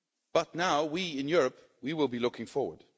But now, we, in Europe, will be looking forward.